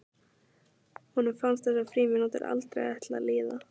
Honum fannst þessar frímínútur aldrei ætla að líða.